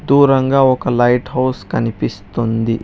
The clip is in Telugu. దూరంగా ఒక లైట్ హౌస్ కనిపిస్తుంది.